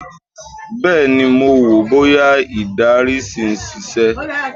Bẹ́ẹ̀̀ ni, mo wò bóyá ìdarí ṣì ń ṣiṣẹ́